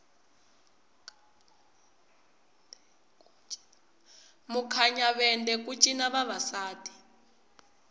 mukhinyavende ku cina vavasati